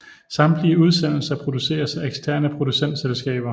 Samtlige udsendelser produceres af eksterne producentselskaber